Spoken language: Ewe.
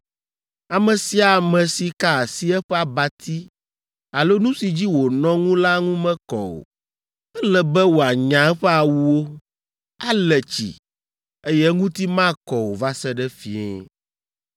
Ame sia ame si ka asi eƒe abati alo nu si dzi wònɔ ŋu la ŋu mekɔ o. Ele be wòanya eƒe awuwo, ale tsi, eye eŋuti makɔ o va se ɖe fiẽ.